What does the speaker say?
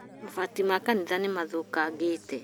Mabati ma kanitha nĩ rĩthũkangĩte